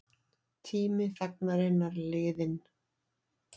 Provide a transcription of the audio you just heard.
Tími þagnarinnar liðinn